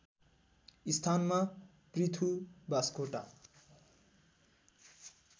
स्थानमा पृथु बास्कोटा